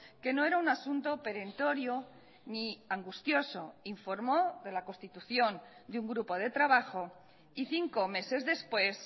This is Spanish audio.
que no era un asunto perentorio ni angustioso informó de la constitución de un grupo de trabajo y cinco meses después